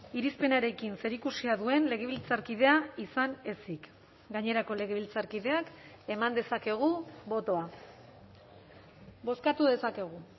irizpenarekin zerikusia duen legebiltzarkidea izan ezik gainerako legebiltzarkideak eman dezakegu botoa bozkatu dezakegu